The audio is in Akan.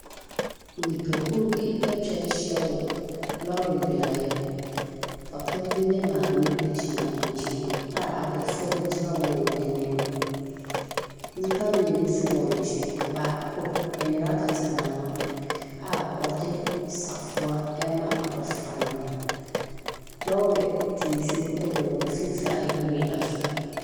Nnipakuo bi atwa ahyia wɔ lɔɔre beaeɛ. Papa bi ne maame gyina nkyɛn a abɔfra bi gyina wɔn anim. Nnipa mmienu nso wɔ nkyɛn, baako nnwera kata n’ano a ɔde safoa ɛrema abɔfra no. Lɔɔre tuntum wɔ wɔn mfimfin a nhwiren da so.